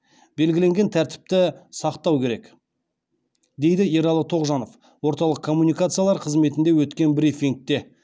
белгіленген тәртіпті сақтау керек дейді ералы тоғжанов орталық коммуникациялар қызметінде өткен брифингте